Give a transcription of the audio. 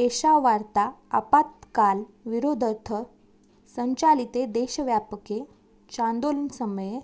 एषा वार्ता आपातकाल विरोधर्थं संचालिते देशव्यापके चान्दोलनसमये